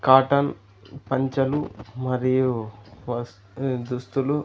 Cotton పంచలు మరియు వస్ దుస్తులు.